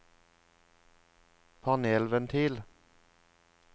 panelventil